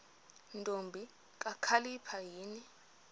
ntombi kakhalipha yini